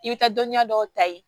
I bɛ taa dɔnniya dɔw ta ye